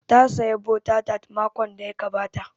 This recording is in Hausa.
Ta saya bota tat makon da ya gabata